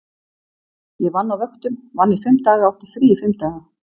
Ég vann á vöktum, vann í fimm daga og átti frí í fimm daga.